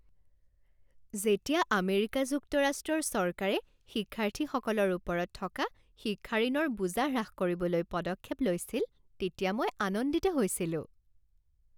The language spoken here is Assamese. যেতিয়া আমেৰিকা যুক্তৰাষ্ট্ৰৰ চৰকাৰে শিক্ষাৰ্থীসকলৰ ওপৰত থকা শিক্ষা ঋণৰ বোজা হ্ৰাস কৰিবলৈ পদক্ষেপ লৈছিল তেতিয়া মই আনন্দিত হৈছিলো।